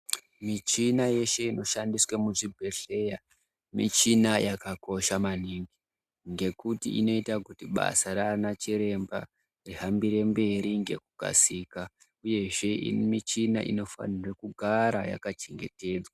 Michina yeshe inoshandiswa muzvibhedhlera michina yakakosha maningi ngekuti inoite kuti basa raanachiremba rihambire mberi ngekukasika uyezve michina inofanirwe kugara yakachengetedzwa.